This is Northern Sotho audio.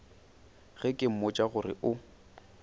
ge ke mmotša gore o